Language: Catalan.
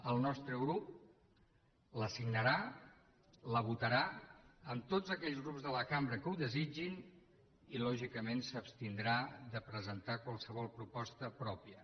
el nostre grup la signarà la votarà amb tots aquells grups de la cambra que ho desitgin i lògicament s’abstindrà de presentar qualsevol proposta pròpia